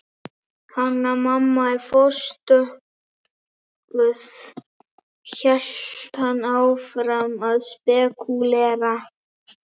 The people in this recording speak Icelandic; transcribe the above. Hanna- Mamma er forstokkuð, hélt hann áfram að spekúlera.